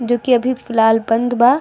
जो की अभी फ़िलहाल बंद बा।